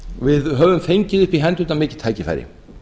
við höfum fengið upp í hendurnar mikið tækifæri